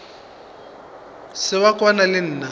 se wa kwana le nna